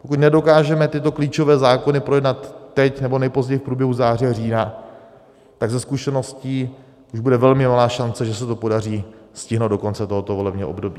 Pokud nedokážeme tyto klíčové zákony projednat teď, nebo nejpozději v průběhu září a října, tak ze zkušeností už bude velmi malá šance, že se to podaří stihnout do konce tohoto volebního období.